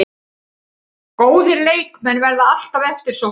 Góðir leikmenn verða alltaf eftirsóttir